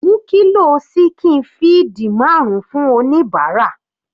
Mú kilo ṣíkìn feed marun fún oníbàárà.